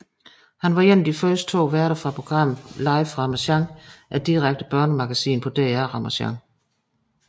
Han var en af de to første værter fra programmet Live fra Ramasjang et direkte børnemagasin på DR Ramasjang